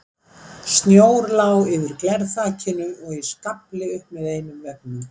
Snjór lá yfir glerþakinu og í skafli upp með einum veggnum.